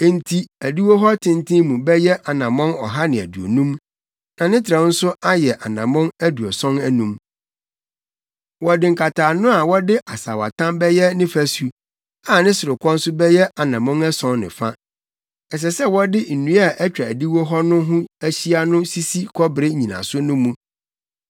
Enti adiwo hɔ tenten mu bɛyɛ anammɔn ɔha ne aduonum, na ne trɛw nso ayɛ anammɔn aduɔson anum. Wɔde nkataano a wɔde asaawatam bɛyɛ ne fasu, a ne sorokɔ nso bɛyɛ anammɔn ason ne fa. Ɛsɛ sɛ wɔde nnua a atwa adiwo hɔ no ho ahyia no sisi kɔbere nnyinaso no mu.